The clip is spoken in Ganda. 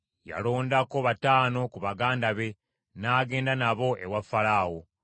Yalondako bataano ku baganda be, n’agenda nabo ewa Falaawo.